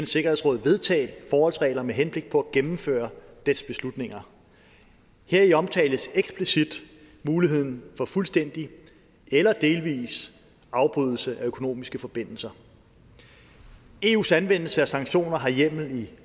sikkerhedsråd vedtage forholdsregler med henblik på at gennemføre dets beslutninger heri omtales eksplicit muligheden for fuldstændig eller delvis afbrydelse af økonomiske forbindelser eus anvendelse af sanktioner har hjemmel i